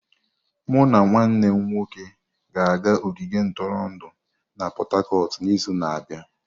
Mụ na nwanne m nwoke ga-aga ogige ntụrụndụ na Pot-Tarcotu n'izu na-abịa.